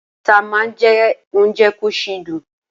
Ata má ń jẹ́ ounje kò sì dùn